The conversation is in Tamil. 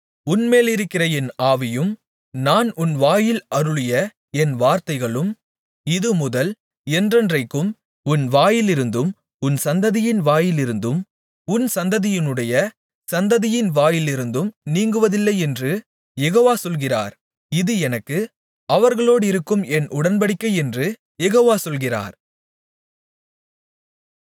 உன்மேலிருக்கிற என் ஆவியும் நான் உன் வாயில் அருளிய என் வார்த்தைகளும் இதுமுதல் என்றென்றைக்கும் உன் வாயிலிருந்தும் உன் சந்ததியின் வாயிலிருந்தும் உன் சந்ததியினுடைய சந்ததியின் வாயிலிருந்தும் நீங்குவதில்லையென்று யெகோவா சொல்கிறார் இது எனக்கு அவர்களோடிருக்கும் என் உடன்படிக்கையென்று யெகோவா சொல்கிறார்